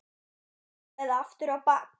Nú eða aftur á bak!